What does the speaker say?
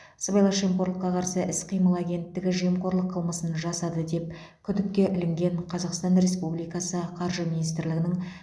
сыбайлас жемқорлыққа қарсы іс қимыл агенттігі жемқорлық қылмысын жасады деп күдікке ілінген қазақстан республикасы қаржы министрлігінің